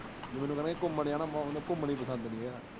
ਮੈਨੂੰ ਕਹਿੰਦਾ ਸੀ ਘੁੰਮਣ ਜਾਣਾ, ਬੱਸ ਉਹਂਦੇ ਘੁੰਮਣ ਈ ਪਸੰਦ ਨਹੀਂ ਆਇਆ।